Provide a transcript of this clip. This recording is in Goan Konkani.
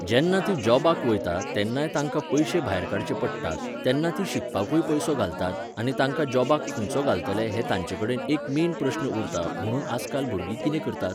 जेन्ना तीं जॉबाक वयता तेन्नाय तांकां पयशे भायर काडचे पडटात, तेन्ना तीं शिकपाकूय पयसो घालतात आनी आतां जॉबाक खंयचो घालतले हो तांचे कडेन एक मेन प्रश्न उरता म्हुणून आजकाल भुरगीं कितें करतात?